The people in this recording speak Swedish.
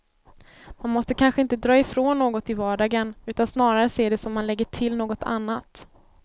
Man måste kanske inte dra ifrån något i vardagen, utan snarare se det som om man lägger till något annat.